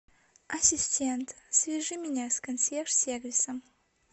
ассистент свяжи меня с консьерж сервисом